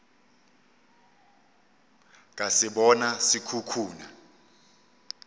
ka se bona se khukhuna